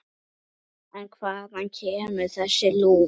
En hvaðan kemur þessi lús?